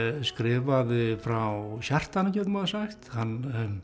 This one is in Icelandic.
skrifaði frá hjartanu getur maður sagt hann